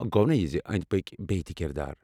گونا یہِ زِ اندۍ پٕكۍ بییہِ تہِ كِردار۔